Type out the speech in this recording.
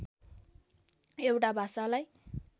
एउटा भाषालाई